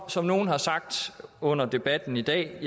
som nogle har sagt under debatten i dag er